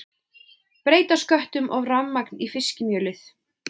Breyta sköttum og rafmagn í fiskimjölið